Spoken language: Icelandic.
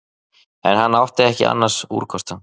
En hann átti ekki annars úrkosta